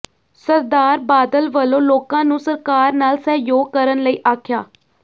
ਸਰਦਾਰ ਬਾਦਲ ਵੱਲੋਂ ਲੋਕਾਂ ਨੂੰ ਸਰਕਾਰ ਨਾਲ ਸਹਿਯੋਗ ਕਰਨ ਲਈ ਆਖਿਆ